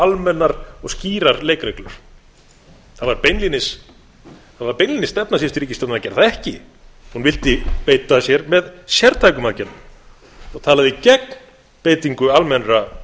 almennar og skýrar leikreglur það var beinlínis stefna síðustu ríkisstjórnar að gera það ekki hún vildi beita sér með sértækum aðgerðum og talaði gegn beitingu almennra